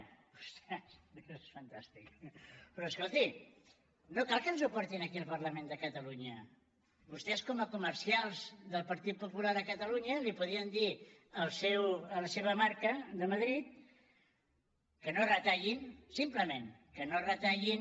ostres és fantàstic però escolti no cal que ens ho portin aquí al parlament de catalunya vostès com a comercials del partit popular a catalunya podien dir a la seva marca de madrid que no retallin simplement que no retallin